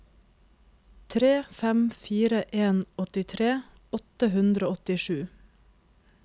tre fem fire en åttitre åtte hundre og åttisju